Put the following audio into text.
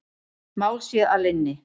Mál sé að linni.